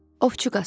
Ovçu Qasım.